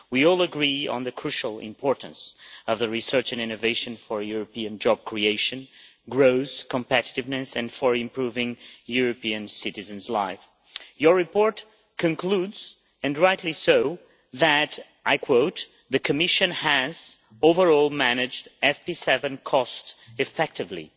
We all agree on the crucial importance of research and innovation for European job creation, growth, competitiveness and in improving European citizens' lives. Your report concludes, and rightly so, that, I quote, the Commission, overall, managed the FP7 cost effectively'